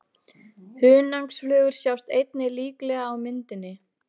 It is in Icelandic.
Hunangsflugur sjást einnig líklega á myndinni.